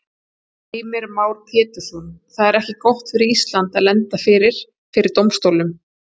Heimir Már Pétursson: Það er ekki gott fyrir Ísland að lenda fyrir, fyrir dómstólnum?